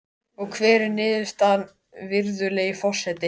Skemmtileg Kíkir þú oft á Fótbolti.net?